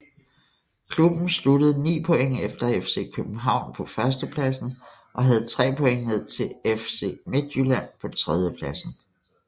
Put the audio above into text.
Klubben sluttede 9 point efter FC København på førstepladsen og havde 3 point ned til FC Midtjylland på tredjepladsen